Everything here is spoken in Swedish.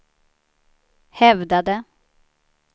hävdade